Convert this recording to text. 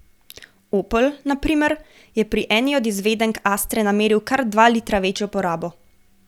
Opel, na primer, je pri eni od izvedenk astre nameril kar dva litra večjo porabo.